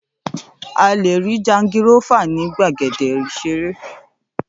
À lé rí jangirọ́fà ní gbàgéde ìsérè